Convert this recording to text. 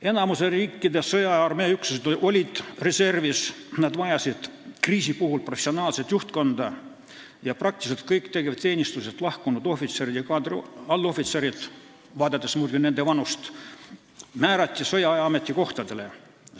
Enamiku riikide sõjaaja armeeüksused olid reservis, nad vajasid kriisi puhul professionaalset juhtkonda ja praktiliselt kõik tegevteenistusest lahkunud ohvitserid ja kaadriallohvitserid, vaadates muidugi nende vanust, määrati sõjaaja ametikohtadele.